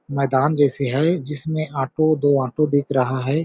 मैदान जैसे है जिसमे ऑटो दो ऑटो दिख रहा हैं ।